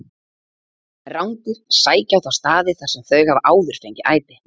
Rándýr sækja á þá staði þar sem þau hafa áður fengið æti.